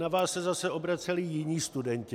Na vás se zase obraceli jiní studenti.